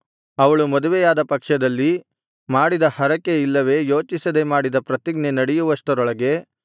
ಅವಳು ಮದುವೆಯಾದ ಪಕ್ಷದಲ್ಲಿ ಮಾಡಿದ ಹರಕೆ ಇಲ್ಲವೆ ಯೋಚಿಸದೆ ಮಾಡಿದ ಪ್ರತಿಜ್ಞೆ ನಡೆಯುವಷ್ಟರೊಳಗೆ